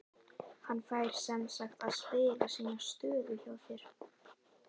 Hann fær semsagt að spila sína stöðu hjá þér?